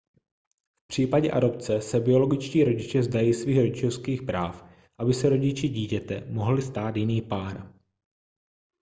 v případě adopce se biologičtí rodiče vzdají svých rodičovských práv aby se rodiči dítěte mohl stát jiný pár